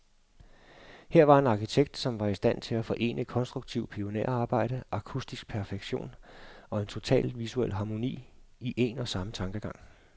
Her var en arkitekt, som var i stand til at forene konstruktivt pionerarbejde, akustisk perfektion, og en total visuel harmoni, i en og samme tankegang.